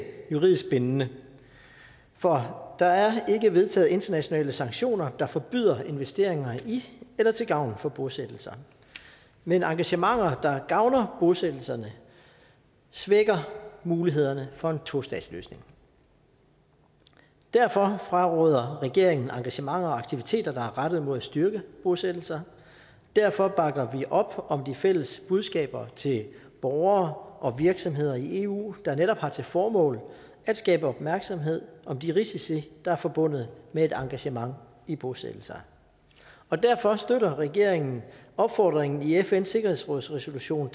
juridisk bindende for der er ikke vedtaget internationale sanktioner der forbyder investeringer i eller til gavn for bosættelser men engagementer der gavner bosættelserne svækker mulighederne for en tostatsløsning derfor fraråder regeringen engagementer og aktiviteter der er rettet mod at styrke bosættelser derfor bakker vi op om de fælles budskaber til borgere og virksomheder i eu der netop har til formål at skabe opmærksomhed om de risici der er forbundet med et engagement i bosættelser og derfor støtter regeringen opfordringen i fns sikkerhedsråds resolution